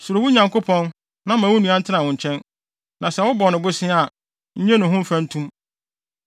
Suro wo Nyankopɔn na ma wo nua ntena wo nkyɛn; na sɛ wobɔ no bosea a, nnye no ho mfɛntom.